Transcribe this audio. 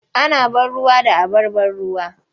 Ana ban ruwa da abar ban ruwa.